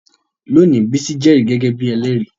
Lónìí, Bisi jẹ́rìí gẹ́gẹ́ bí ẹlẹ́rìí